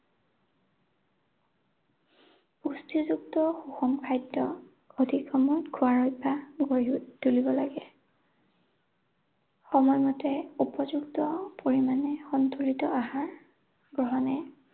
পুষ্টিযুক্ত সুষম খাদ্য সঠিক সময়ত খোৱাৰ অভ্যাস গঢ়ি তুলিব লাগে। সময়মতে উপযুক্ত পৰিমাণে সন্তুলিত আহাৰ গ্ৰহণে